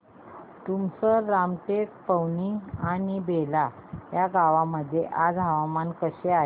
तुमसर रामटेक पवनी आणि बेला या गावांमध्ये आज हवामान कसे आहे